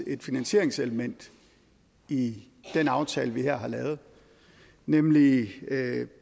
et finansieringselement i den aftale vi her har lavet nemlig